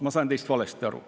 Ma sain teist valesti aru.